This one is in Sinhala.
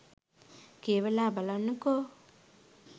කියවලා බලන්නකෝ.